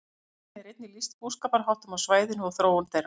Í svarinu er einnig lýst búskaparháttum á svæðinu og þróun þeirra.